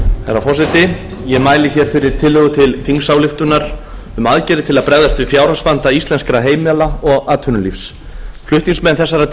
herra forseti ég mæli hér fyrir tillögu til þingsályktunar um aðgerðir til að bregðast við fjárhagsvanda íslenskra heimila og atvinnulífs flutningsmenn þessarar